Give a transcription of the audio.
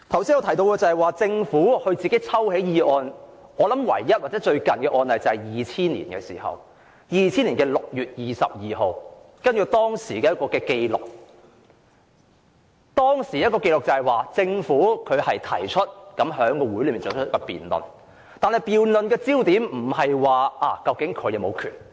說到政府自行抽起法案，唯一或最近的案例是在2000年6月22日，根據當時的紀錄，政府在會議上提出休會辯論，但辯論的焦點並非政府是否有權這樣做。